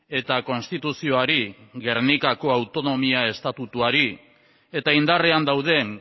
eta konstituzioari gernikako autonomia estatutuari eta indarrean dauden